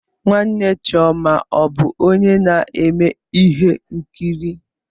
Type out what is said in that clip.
Nwanne chioma ọ bụ onye na-eme ihe nkiri?